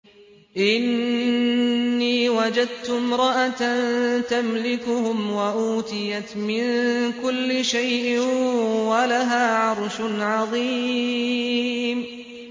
إِنِّي وَجَدتُّ امْرَأَةً تَمْلِكُهُمْ وَأُوتِيَتْ مِن كُلِّ شَيْءٍ وَلَهَا عَرْشٌ عَظِيمٌ